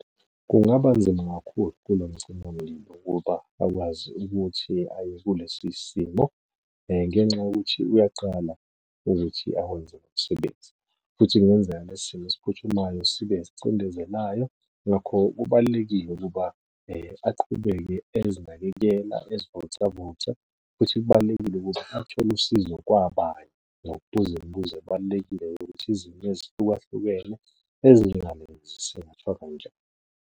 Kungaba nzima kakhulu kulo mcima mlilo ukuba akwazi ukuthi aye kulesi simo, ngenxa yokuthi uyaqala ukuthi awenze lo msebenzi, futhi kungenzeka lesi simo esiphuthumayo sibe esicindezelayo. Ngakho kubalulekile ukuba aqhubeke ezinakekela, ezivocavoca. futhi kubalulekile ukuthi athole usizo kwabanye. Nokubuza imibuzo ebalulekile yokuthi izimo ezihlukahlukene ezinjengalezi .